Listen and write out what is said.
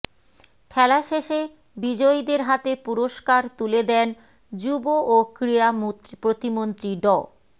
খেলা শেষে বিজয়ীদের হাতে পুরস্কার তুলে দেন যুব ও ক্রীড়া প্রতিমন্ত্রী ড